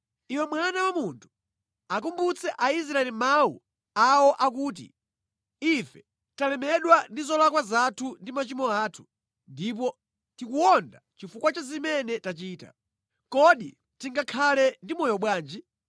“Iwe mwana wa munthu, akumbutse Aisraeli mawu awo akuti, ‘Ife talemedwa ndi zolakwa zathu ndi machimo athu, ndipo tikuwonda chifukwa cha zimene tachita. Kodi tingakhale ndi moyo bwanji?’ ”